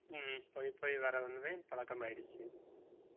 ஹம் போய் போய் வேற வந்துதான் பழக்கம் ஆயிடுச்சு